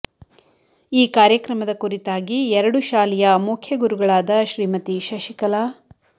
ಈ ಕಾರ್ಯಕ್ರಮದ ಕುರಿತಾಗಿ ಎರಡು ಶಾಲೆಯ ಮುಖ್ಯ ಗುರುಗಾದ ಶ್ರೀಮತಿ ಶಶಿಕಲಾ